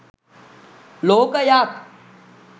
ලෝකයත්